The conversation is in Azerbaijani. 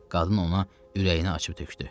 Qadın ona ürəyini açıb tökdü.